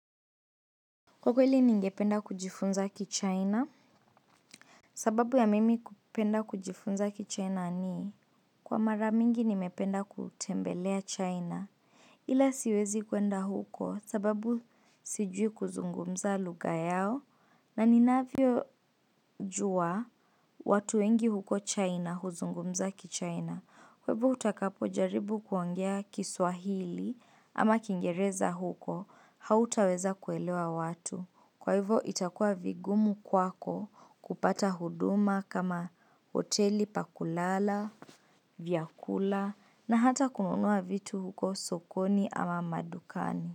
Kwa hivyo ningependa kujifunza kichaina? Sababu ya mimi kupenda kujifunza kichaina nii? Kwa mara mingi nimependa kutembelea chaina. Ila siwezi kwenda huko sababu sijui kuzungumza lugha yao. Na ni navyo jua watu wengi huko chaina huzungumza kichaina. Kwa hivo utakapo jaribu kuongea kiswahili ama kingereza huko. Hautaweza kuelewa watu. Kwa hivo itakua vigumu kwako kupata huduma kama hoteli pakulala, vyakula na hata kununua vitu huko sokoni ama madukani.